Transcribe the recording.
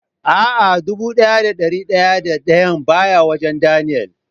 A'a, dubu daya da dari daya da dayan baya wajen "Daniel".